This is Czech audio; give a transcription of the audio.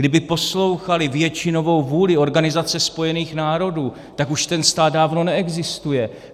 Kdyby poslouchali většinovou vůli Organizace spojených národů, tak už ten stát dávno neexistuje.